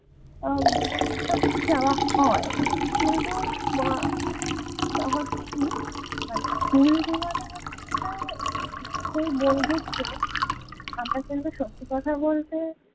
আহ সত্যি যাওয়া হয় কিন্তু উম হচ্ছে কি মানে school জীবনে হচ্ছে যেটা সেই বন্ধুত্ব আমরা যেটা সত্যি কথা বলতে